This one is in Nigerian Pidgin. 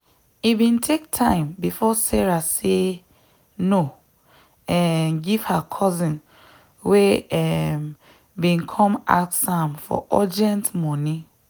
e bin take time before sarah say no um give her cousin wey um bin come ask am for urgent moni